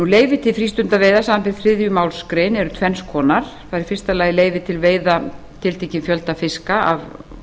leyfi til frístundaveiða samanber þriðju málsgrein eru tvenns konar það er í fyrsta lagi leyfi til veiða tiltekins fjölda fiska af